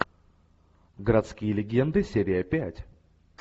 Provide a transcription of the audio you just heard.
городские легенды серия пять